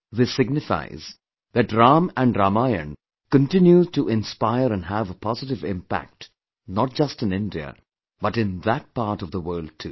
This signifies that Ram & Ramayan continues to inspire and have a positive impact, not just in India, but in that part of the world too